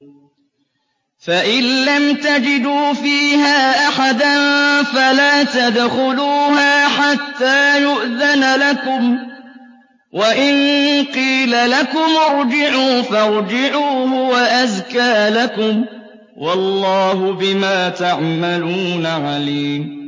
فَإِن لَّمْ تَجِدُوا فِيهَا أَحَدًا فَلَا تَدْخُلُوهَا حَتَّىٰ يُؤْذَنَ لَكُمْ ۖ وَإِن قِيلَ لَكُمُ ارْجِعُوا فَارْجِعُوا ۖ هُوَ أَزْكَىٰ لَكُمْ ۚ وَاللَّهُ بِمَا تَعْمَلُونَ عَلِيمٌ